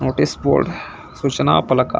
ಶನಿವಾರ ಮತ್ತು ರವಿವಾರು ವಾರ್ ದ್ ರಜೆ.